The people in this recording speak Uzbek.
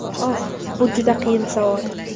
Oh, bu juda qiyin savol.